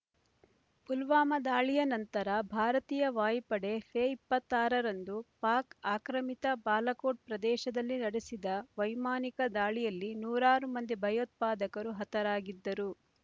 ಪುಲ್ವಾಮಾ ದಾಳಿಯ ನಂತರ ಭಾರತೀಯ ವಾಯುಪಡೆ ಫೆಬ್ರವರಿ ಇಪ್ಪತ್ತ್ ಆರರಂದು ಪಾಕ್ ಆಕ್ರಮಿತ ಬಾಲಾಕೋಟ್ ಪ್ರದೇಶದಲ್ಲಿ ನಡೆಸಿದ ವೈಮಾನಿಕ ದಾಳಿಯಲ್ಲಿ ನೂರಾರು ಮಂದಿ ಭಯೋತ್ಪಾದಕರು ಹತರಾಗಿದ್ದರು